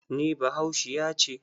NI bahaushiya ce.